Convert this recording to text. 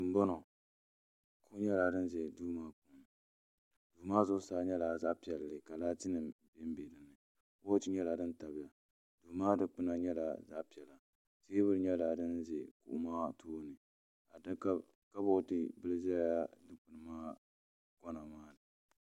do n bɔŋɔ niriba nyɛla ban ʒɛ domaa puuni so maa zuɣ' saa nyɛla zaɣ' pɛli ka laatinim boliƒɔ nyɛla din bɛ di puuni do maa dikpɛna nyɛla zaɣ' pɛli tɛbuli nyɛla di bɛ kuɣ' maa tuuni kabutɛ bila nyɛla din za do maa kona maani